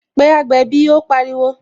Pé agbẹ̀bí " ó pariwo